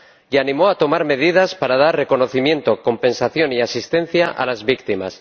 Y animó a tomar medidas para dar reconocimiento, compensación y asistencia a las víctimas.